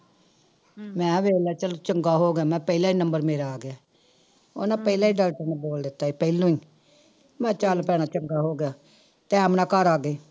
ਮੈਂ ਕਿਹਾ ਵੇਖ ਲਾ ਚੱਲ ਚੰਗਾ ਹੋ ਗਿਆ ਮੈਂ ਕਿਹਾ ਪਹਿਲਾ ਹੀ number ਮੇਰਾ ਆ ਗਿਆ, ਉਹਨੇ ਪਹਿਲਾਂ ਹੀ doctor ਨੇ ਬੋਲ ਦਿੱਤਾ ਸੀ ਪਹਿਲੋਂ ਹੀ, ਮੈਂ ਕਿਹਾ ਚੱਲ ਭੈਣਾ ਚੰਗਾ ਹੋ ਗਿਆ time ਨਾਲ ਘਰ ਆ ਗਏ।